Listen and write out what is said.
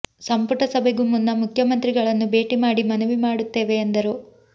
ಸಂಪುಟ ಸಭೆಗೂ ಮುನ್ನ ಮುಖ್ಯಮಂತ್ರಿಗಳನ್ನು ಭೇಟಿ ಮಾಡಿ ಮನವಿ ಮಾಡುತ್ತೇವೆ ಎಂದರು